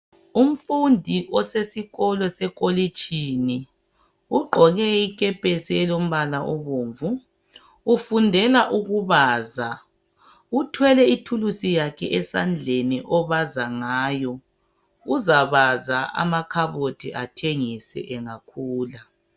Umfundi osesikolo sekolitshini ugqoke ikepesi elombala obomvu ufundela ukubaza uthwele ithuluzi yakhe esandleni obaza ngayo, uzabaza amakhabothi bengakhula.